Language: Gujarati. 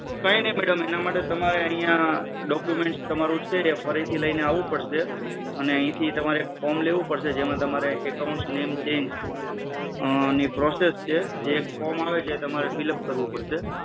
કઈ નહિ madam એના માટે document ફરી લઈને આવવું પડશે. અહીથી તમારે ફોમ લેવું પડશે એમાં તમારે account name change ની process છે એ ફોમ આપેલું એ fillup કરવું પડશે